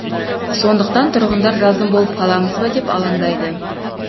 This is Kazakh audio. сондықтан тұрғындар жазым болып қаламыз ба деп алаңдайды